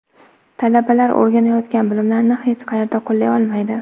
Talabalar o‘rganayotgan bilimlarini hech qayerda qo‘llay olmaydi.